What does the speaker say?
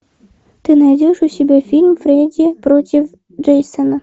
ты найдешь у себя фильм фредди против джейсона